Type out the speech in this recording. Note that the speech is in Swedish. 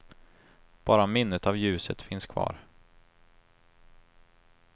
Bara minnet av ljuset finns kvar.